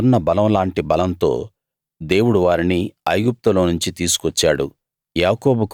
అడవిదున్న బలం లాంటి బలంతో దేవుడు వారిని ఐగుప్తులోనుంచి తీసుకొచ్చాడు